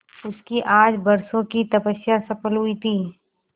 उसकी आज बरसों की तपस्या सफल हुई थी